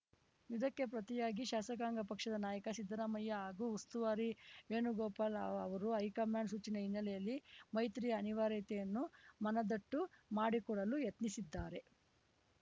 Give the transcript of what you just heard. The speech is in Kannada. ಇದಕ್ಕೆ ಪ್ರತಿಯಾಗಿ ಶಾಸಕಾಂಗ ಪಕ್ಷದ ನಾಯಕ ಸಿದ್ದರಾಮಯ್ಯ ಹಾಗೂ ಉಸ್ತುವಾರಿ ವೇಣುಗೋಪಾಲ್‌ ಅವರು ಹೈಕಮಾಂಡ್‌ ಸೂಚನೆ ಹಿನ್ನೆಲೆಯಲ್ಲಿ ಮೈತ್ರಿಯ ಅನಿವಾರ್ಯತೆಯನ್ನು ಮನದಟ್ಟು ಮಾಡಿಕೊಡಲು ಯತ್ನಿಸಿದ್ದಾರೆ